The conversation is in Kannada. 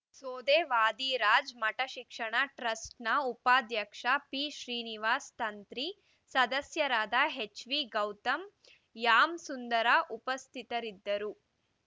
ಸೋದೆ ವಾದಿರಾಜ ಮಠ ಶಿಕ್ಷಣ ಟ್ರಸ್ಟ್‌ನ ಉಪಾಧ್ಯಕ್ಷ ಪಿ ಶ್ರೀನಿವಾಸ ತಂತ್ರಿ ಸದಸ್ಯರಾದ ಎಚ್ವಿಗೌತಮ ಯಾಮ್ ಸುಂದರ ಉಪಸ್ಥಿತರಿದ್ದರು